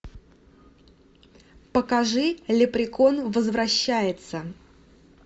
покажи леприкон возвращается